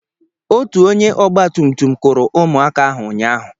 Otu onye ọgba tum tum kụrụ ụmụaka ahụ ụnyahụ.